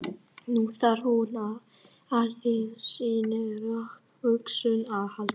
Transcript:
Nú þarf hún á allri sinni rökhugsun að halda.